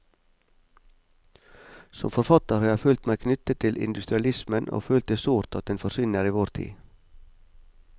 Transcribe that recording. Som forfatter har jeg følt meg knyttet til industrialismen og følt det sårt at den forsvinner i vår tid.